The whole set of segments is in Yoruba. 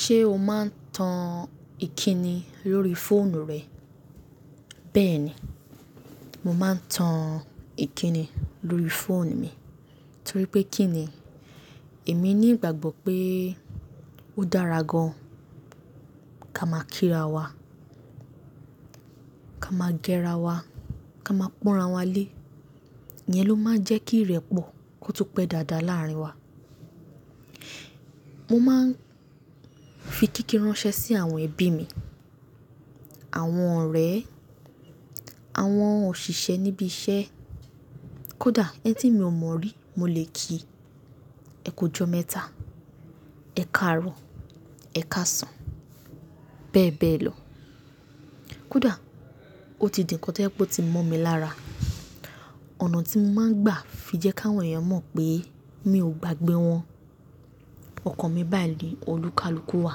Ṣé o máa ń tan ìkíni lórí fóònù rẹ? Bẹ́ẹ̀ni, mo máa ń tan ìkíni lórí fóònù mi, torí pé kí ni èmi ní ìgbàgbọ́ pé ó dára gan-an ká máa kíra wa, ká máa géra wa, ká máa pọ́nra wa lé, iyẹn ló máa ń jẹ́ kí ìrẹ́pọ̀ kó tún pẹ́ dáadáa làárín wa. Mo máa ń fi kíkí ránṣẹ́ sí àwọn ẹbí mi, àwọn ọ̀rẹ́, àwọn òṣìṣẹ́ níbi iṣẹ́, kódà ẹni tí mi ò mọ̀ rí mo lè kí, "Ẹ kú jọ mẹ́ta, ẹ̀ káàárọ̀, ẹ káàsán", bẹ́ẹ̀ bẹ́ẹ̀ lọ. Kódà ó ti di ǹkan tó jẹ́ pé ó ti mọ́ mi lára, ọ̀nà tí mo máa ń gbà fi jẹ́ kí àwọn èèyàn mọ̀ pé mi ò gbàgbé wọn, ọkàn mi bàyi ní olúkalúkù wà.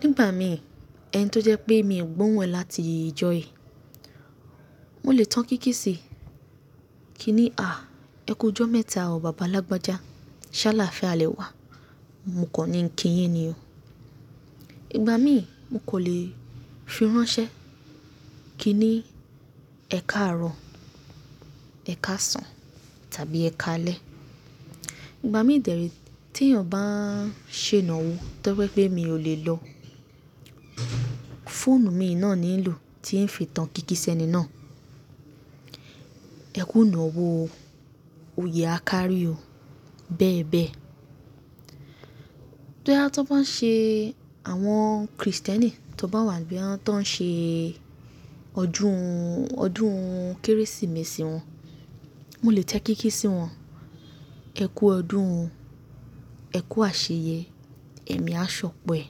Nígbà mìí ẹni tó jẹ́ pé èmi ò gbọ́n wọ́n láti ìjọ yìí, mo lè tan kíkí sí i kí ni, "Àá, ẹ kú jọ mẹ́ta o bàbá lágbájá, ṣe aláàfíà lẹ wá", mo kan ní ń kí yín ni o. Ìgbà míì mo kò lè fi ránṣẹ́ kí ni, "Ẹ káàárọ̀, ẹ káàsán tàbí ẹ káalẹ́". Ìgbà míì dẹ̀re tí èèyàn bá ń ṣe ìnáwó tó bá jẹ́ pé mi ò lè lọ, fóònù mi náà ni ń lò tí ń fi tan kíkí sẹ́ni náà, "Ẹ kún ìnáwó o, òye a kárí o", bẹ́ẹ̀ bẹ́ẹ̀. Bóyá tí ó bá ṣe, àwọn Krìstẹ́nì tó bá wà ní bóyá tàn ń ṣe ọdún, ọdún Kérésìmesì wọn, mo lè tẹ kíkí sí wọn, "Ẹ kú ọdún, ẹ kú àṣeyẹ, ẹ̀mi á ṣọpọ e".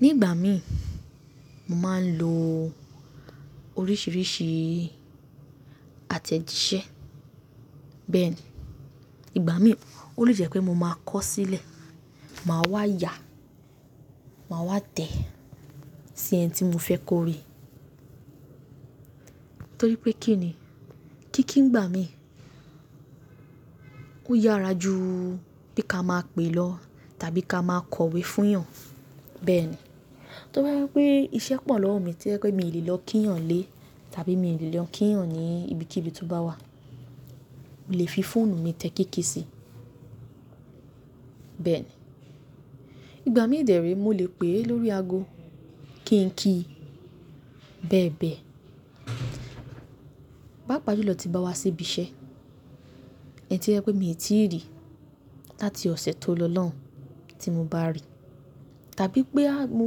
Nígbà míì mo máa ń lo oríṣìíríṣìí àtẹ̀jíṣẹ́. Bẹ́ẹ̀ni, ìgbà míì ó lè jẹ́ pé mo máa kọ̀ sílẹ̀, màá wá ya, màá wá tẹ sí ẹni tí mo fẹ́ kọ̀ rí. Torí pé kí ni, kíkí ńgbà míì ó yára ju bí ká máa pè lọ tàbí ká máa kọ̀wé fún yàn. Bẹ́ẹ̀ni, tó bá jẹ́ wípé iṣẹ́ pọ̀ lọ́wọ́ mi, tó jẹ́ wípé mi lè lọ kí yàn n lé tàbí mi lè lọ kíyàn níbi kíbi tó bá wà, mo lè fi fóònù mi tẹ kíkí sí. Bẹ́ẹ̀ni, ìgbà míì dẹ̀ree mo lè pè lórí ago kí n kí, bẹ́ẹ̀ bẹ́ẹ̀. Paapà júlọ tí n bá wá síbi iṣẹ́, ẹni tí ó jẹ́ wí pé mi ò tí rí láti ọ̀sẹ̀ tó lọ lọ́hùn ún tí mo bá rí tàbí pé a, mo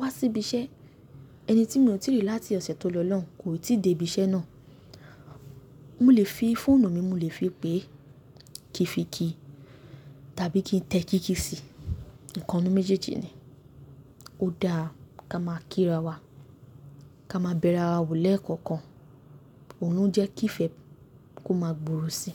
wá sí ibi iṣẹ́, ẹni tí mi ò tí rí láti ọ̀sẹ̀ tóri lọ́hùn kò tì dé ibi iṣẹ́ náà, mo lè fi fóònù mi, mo lè fi pé kí fi kí tàbí kí n tẹ kíkí sí. Ìkannú méjèèjì ni, ó dáa ká máa kíra wa, ká máa bẹ̀ra wa wò lẹ́ẹ̀kọ́kan, òhun jẹ́ kí ifẹ̀ kó máa gbòòrò si.